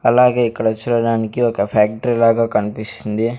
అలాగే ఇక్కడ చూడడానికి ఒక ఫ్యాక్ట్రీ లాగా కన్పిస్తుంది.